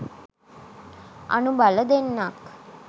අනුබල දෙන්නක්